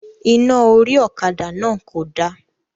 Iná orí ọ̀kadà náà kò da